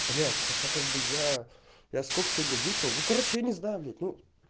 блять хотя как бы я я сколько сегодня выпил ну короче я не знаю ну